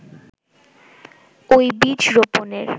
ওই বীজ রোপনের